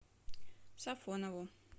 сафонову